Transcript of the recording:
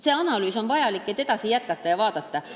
See analüüs on vajalik, et jätkata ja edasi vaadata.